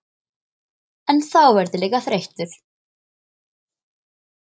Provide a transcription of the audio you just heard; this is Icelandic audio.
En þá verð ég líka þreyttur.